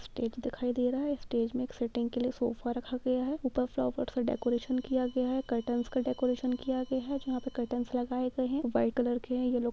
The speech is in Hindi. स्टेज दिखाई दे रहा है स्टेज में एक सिटींग के लिए सोफा रखा गया है ऊपर फ्लॉवर से डेकोरेशन किया गया है कर्टेन का डेकोरेशन किया गया है जहाँ पर कर्टेंस लगाये गए है वाइट कलर का है।